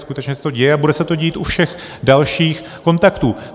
Skutečně se to děje a bude se to dít u všech dalších kontaktů.